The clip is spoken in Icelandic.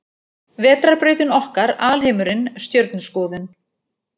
Vetrarbrautin okkar Alheimurinn Stjörnuskoðun.